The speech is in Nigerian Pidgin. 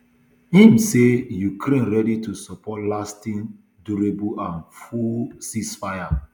im say ukraine ready to support lasting durable and full ceasefire